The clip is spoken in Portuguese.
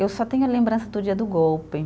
Eu só tenho a lembrança do dia do golpe.